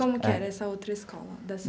Como que era essa outra escola?